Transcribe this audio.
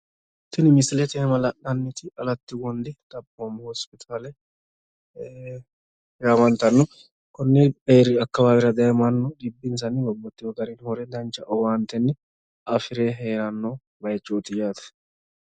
Tini misilete iima la'nanniti alatti wondi xaphoomu hosipitaale yaamantanno. konni eeriyi akkawaawera daye mannu xibbinsanni babbaxxewo gari hure dancha owaantenni afire heeranno bayiichooti yaate.